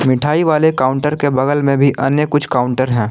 मिठाई वाले काउंटर के बगल में भी अन्य कुछ काउंटर हैं।